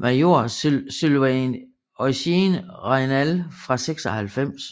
major Sylvain Eugène Raynal fra 96